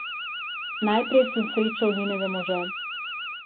Najprej sem srečal njenega moža.